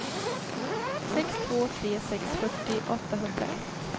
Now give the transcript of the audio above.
sex två tre sex fyrtio åttahundraett